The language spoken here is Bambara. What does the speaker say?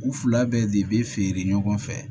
U fila bɛɛ de be feere ɲɔgɔn fɛ